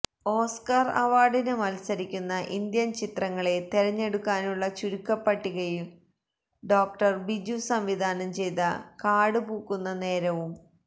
Oscar അവാർഡിന് മത്സരിക്കുന്ന Indian ചിത്രങ്ങളെ തിരഞ്ഞെടുക്കാനുള്ള ചുരുക്കപ്പട്ടികയില് ഡോ ബിജു സംവിധാനം ചെയ്ത കാടുപൂക്കുന്ന നേരവും